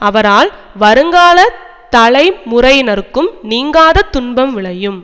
அவரால் வருங்கால தலைமுறையினர்க்கும் நீங்காத துன்பம் விளையும்